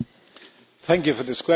Thank you for this question.